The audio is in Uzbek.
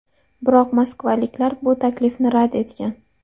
Biroq moskvaliklar bu taklifni rad etgan.